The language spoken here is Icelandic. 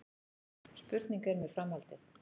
Spurning er með framhaldið